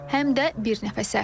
Həm də bir nəfəsə.